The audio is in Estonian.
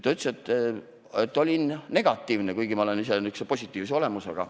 Ta ütles, et olin negatiivne, kuigi ma olen ise nihukese positiivse olemusega.